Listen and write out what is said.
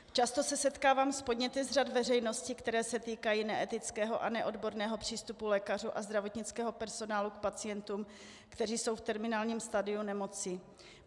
Často se setkávám s podněty z řad veřejnosti, které se týkají neetického a neodborného přístupu lékařů a zdravotnického personálu k pacientům, kteří jsou v terminálním stadiu nemoci.